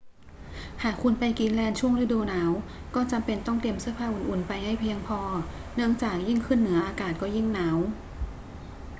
หากคุณไปกรีนแลนด์ช่วงฤดูหนาว ก็จำเป็นต้องเตรียมเสื้อผ้าอุ่น ๆ ไปให้เพียงพอ เนื่องจากยิ่งขึ้นเหนืออากาศก็ยิ่งหนาว